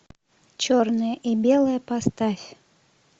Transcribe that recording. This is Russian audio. черное и белое поставь